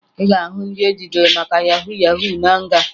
Ị ga-ahụ ndị ejidere maka yahu yahu na nga